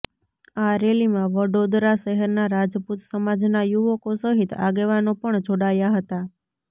આ રેલીમાં વડોદરા શહેરના રાજપૂત સમાજના યુવકો સહિત આગેવાનો પણ જોડાયા હતા